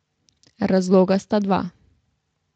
Razloga sta dva.